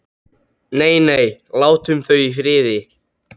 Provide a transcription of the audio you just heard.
Nei, nei, látum þau í friði.